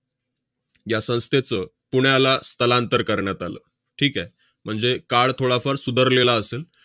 या संस्थेचं पुण्याला स्थलांतर करण्यात आलं. ठीक आहे? म्हणजे काळ थोडाफार सुधरलेला असेल,